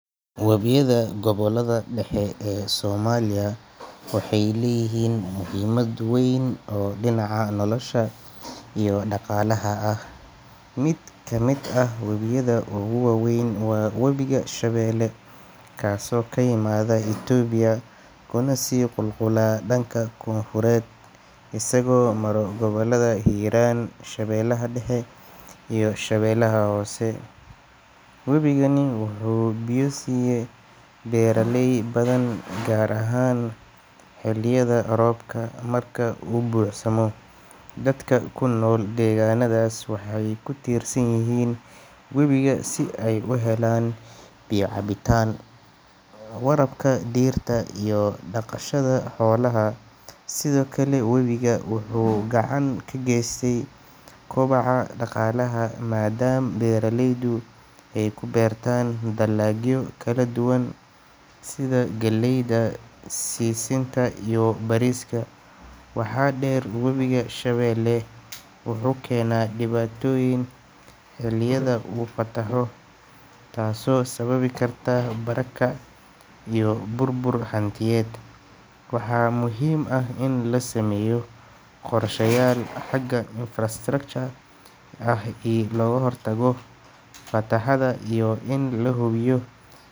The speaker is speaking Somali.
Wabiyada gobollada dhexe ee Soomaaliya waxay leeyihiin muhiimad weyn oo dhinaca nolosha iyo dhaqaalaha ah. Mid ka mid ah wabiyada ugu waaweyn waa Webiga Shabeelle, kaasoo ka yimaada Itoobiya kuna sii qulqula dhanka koonfureed isagoo maro gobollada Hiiraan, Shabeellaha Dhexe iyo Shabeellaha Hoose. Webigani wuxuu biyo siiya beeraley badan, gaar ahaan xilliyada roobka marka uu buuxsamo. Dadka ku nool deegaannadaas waxay ku tiirsan yihiin webiga si ay u helaan biyo cabitaan, waraabka dhirta iyo dhaqashada xoolaha. Sidoo kale, wabiga wuxuu gacan ka geystaa kobaca dhaqaalaha, maadaama beeraleydu ay ku beertaan dalagyo kala duwan sida galleyda, sisinta iyo bariiska. Intaa waxaa dheer, wabiga Shabeelle wuxuu keenaa dhibaatooyin xilliyada uu fataho, taasoo sababi karta barakac iyo burbur hantiyeed. Waxaa muhiim ah in la sameeyo qorshayaal xagga infrastructure ah si looga hortago fatahaadaha iyo in la hubiyo.